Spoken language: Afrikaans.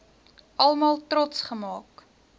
almal trots gemaak